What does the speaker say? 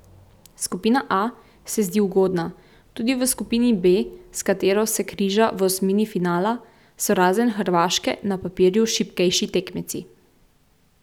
Skupina A se zdi ugodna, tudi v skupini B, s katero se križa v osmini finala, so razen Hrvaške na papirju šibkejši tekmeci.